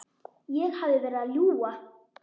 Ég hefði verið að ljúga.